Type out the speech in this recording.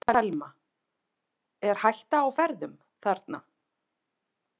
Telma: Er hætta á ferðum þarna?